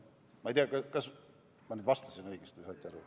Ma ei tea, kas ma nüüd vastasin õigesti või kas saite aru.